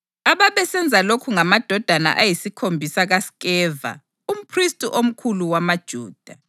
Ababesenza lokhu ngamadodana ayisikhombisa kaSkeva umphristi omkhulu wamaJuda.